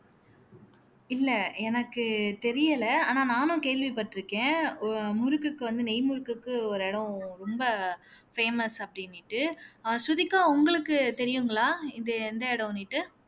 இல்லை எனக்கு தெரியல ஆனா நானும் கேள்விப்பட்டிருக்கேன் ஒ முறுக்குக்கு வந்து நெய் முறுக்குக்கு ஒரு இடம் ரொம்ப famous அப்படின்னுட்டு ஆஹ் ஸ்ருதிகா உங்களுக்கு தெரியுங்களா இது எந்த இடம்ன்னுட்டு